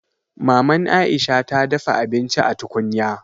Maman Aisha ta dafa abinci a tukunya